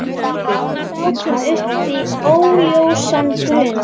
Við sátum uppi óljósan grun.